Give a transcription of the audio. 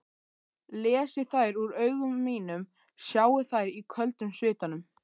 Lesi þær úr augum mínum, sjái þær í köldum svitanum.